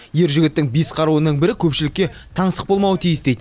ер жігіттің бес қаруының бірі көпшілікке таңсық болмауы тиіс дейді